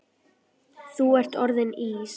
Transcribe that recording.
Þú ert orðinn Ís